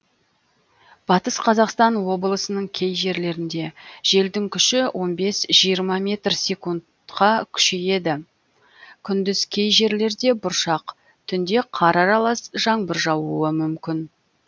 батыс қазақстан облысының кей жерлерінде желдің күші он бес жиырма метр секундқа күшейеді күндіз кей жерлерде бұршақ түнде қар аралас жаңбыр жаууы мүмкін